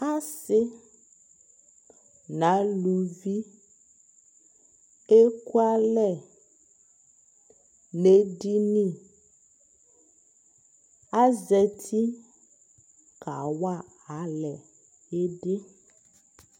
Asi nʋ alʋvi ekualɛ nʋ edini Azati kawa alɛ idi